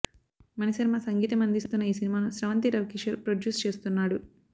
మణిశర్మ సంగీతం అందిస్తున్న ఈ సినిమాను స్రవంతి రవికిషోర్ ప్రొడ్యూస్ చేస్తున్నాడు